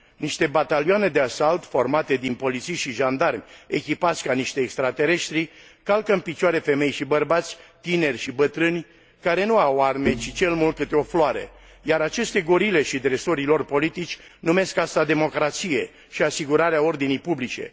Niște batalioane de asalt formate din polițiști și jandarmi echipați ca niște extratereștri calcă în picioare femei și bărbați, tineri și bătrâni, care nu au arme, ci cel mult câte o floare, iar aceste gorile și dresorii lor politici numesc aceasta democrație și asigurarea ordinii publice.